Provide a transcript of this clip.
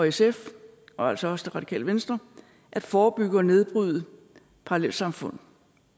sf og altså også radikale venstre at forebygge og nedbryde parallelsamfund